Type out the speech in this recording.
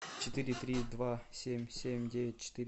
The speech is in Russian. четыре три два семь семь девять четыре